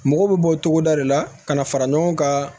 Mɔgɔw bɛ bɔ o cogoda de la ka na fara ɲɔgɔn kan